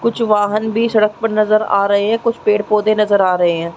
कुछ वाहन भी सड़क पर नज़र आ रहे है कूछ पेड़-पौधे नज़र आ रहे है।